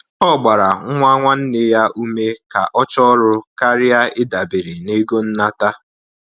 Ọ gbara nwa nwanne nneya ume ka ọ chọọ ọrụ karịa ịdabere na-ego nnata